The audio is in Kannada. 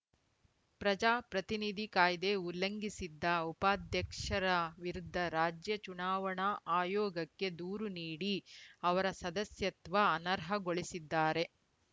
ಪ್ರಜಾಪ್ರತಿನಿಧಿ ಕಾಯ್ದೆ ಉಲ್ಲಂಘಿಸಿದ್ದ ಉಪಾಧ್ಯಕ್ಷರ ವಿರುದ್ದ ರಾಜ್ಯ ಚುನಾವಣಾ ಆಯೋಗಕ್ಕೆ ದೂರು ನೀಡಿ ಅವರ ಸದಸ್ಯತ್ವ ಅನರ್ಹಗೊಳಿಸಿದ್ದಾರೆ